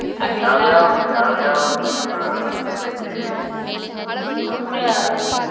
ಯಾವ ಯಾವ್ದನ್ನ ಕೂಡಿಸಿ ತುಂಬ್ತಿರಿ .